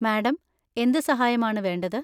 Madam, എന്ത് സഹായമാണ് വേണ്ടത്?